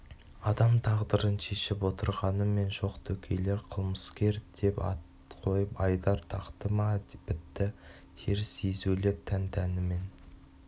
адам тағдырын шешіп отырғанымен жоқ дөкейлер қылмыскер деп ат қойып айдар тақты ма бітті теріс езулеп жан-тәнімен